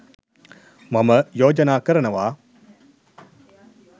මම යෝජනා කරනවා